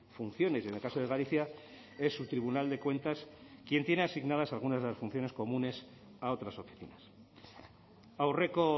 funciones y en el caso de galicia es su tribunal de cuentas quien tiene asignadas algunas de las funciones comunes a otras oficinas aurreko